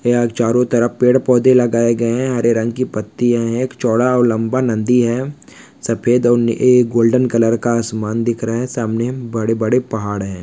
यहाँ चारो तरफ पेड़-पौधे लगाए गए है हरे रंग की पत्तीया है एक चौड़ा और लंबा नंदी है सफ़ेद और ए गोल्डेन कलर का आसमान दिख रहा है सामने बड़े-बड़े पहाड़ है।